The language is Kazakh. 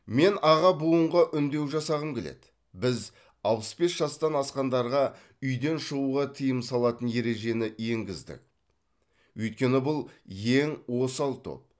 мен аға буынға үндеу жасағым келеді біз алпыс бес жастан асқандарға үйден шығуға тыйым салатын ережені енгіздік өйткені бұл ең осал топ